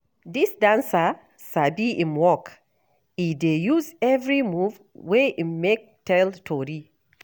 Dis dancer sabi im work, e dey use every move wey im make tell tori.